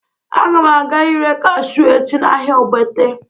Aga m aga ị ree kashụ echi n'ahịa Ogbete